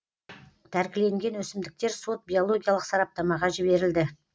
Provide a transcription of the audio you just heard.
тәркіленген өсімдіктер сот биологиялық сараптамаға жіберілді